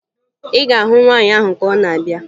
Ị ga-ahụ nwaanyị ahụ ka ọ na abịa